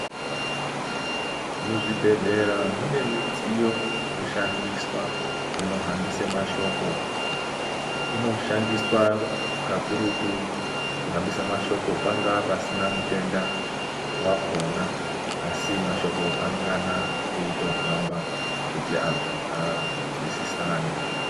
Muzvibhedhlera munemidziyo inoshandiswa inohambise mashoko. Inoshandiswa kakurutu kuhambisa mashoko pangaa pasina mutenda wakhona asi mashoko anongana eyitohamba kuti antu azwisisane.